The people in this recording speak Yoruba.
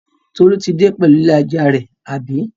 Tolu tí dé pẹ̀lú ilé-ajá rẹ̀, àbí?